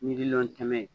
Miliyɔn kɛmɛ ye